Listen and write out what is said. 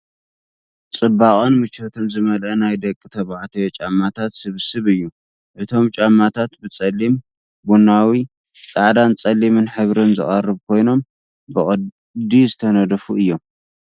ጽባቐን ምቾትን ዝመልአ ናይ ደቂ ተባዕትዮ ጫማታት ስብስብ እዩ። እቶም ጫማታት ብጸሊም፡ ቡናዊ፡ ጻዕዳን ጸሊምን ሕብሪ ዝቐርቡ ኮይኖም ብቕዲ ዝተነድፉ እዮም።